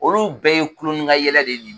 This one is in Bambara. Olu bɛɛ ye kulon ni ka yɛlɛ de ye